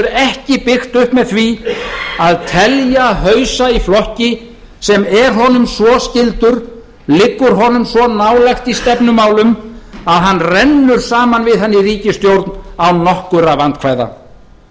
ekki byggt upp með því að telja hausa í flokki sem er honum svo skyldur liggur honum svo nálægt í stefnumálum að hann rennur saman við hann í ríkisstjórn án nokkurra vandkvæða